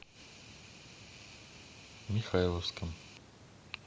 михайловском